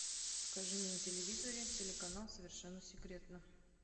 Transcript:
покажи мне на телевизоре телеканал совершенно секретно